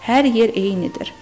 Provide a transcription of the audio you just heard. Hər yer eynidir.